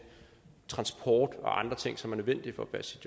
transport og andre ting som er nødvendige for at passe